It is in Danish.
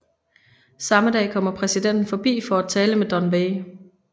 Samme dag kommer præsidenten forbi for at tale med Don Wei